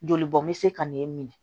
Joli bɔn bɛ se ka n'e minɛ